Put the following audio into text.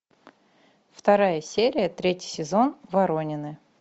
вторая серия третий сезон воронины